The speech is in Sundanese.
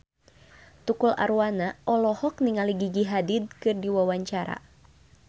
Tukul Arwana olohok ningali Gigi Hadid keur diwawancara